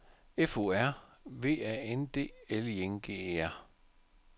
F O R V A N D L I N G E R